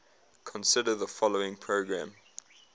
consider the following program